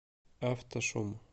автошум